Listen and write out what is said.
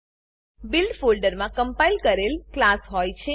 build build ફોલ્ડરમાં compile કરેલ class હોય છે